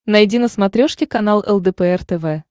найди на смотрешке канал лдпр тв